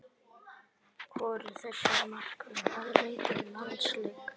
Hvorugur þessara markvarða hafa leikið landsleik.